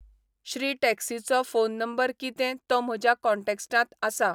श्री टॅक्सीचो phone number कितें तो म्हज्या कॉन्टॅक्ट्सांत आसा